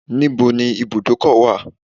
Where is the garage?